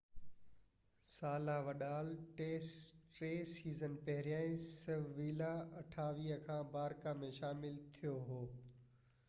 28 ساله وڊال ٽي سيزن پهريان سيويلا کان باراڪا ۾ شامل ٿيو هو